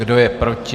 Kdo je proti?